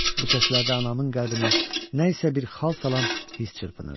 Bu səslərdə anamın qəlbinə nə isə bir xal salan hiss çırpınırdı.